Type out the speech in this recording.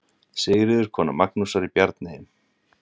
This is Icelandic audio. Sigríður, kona Magnúsar í Bjarneyjum.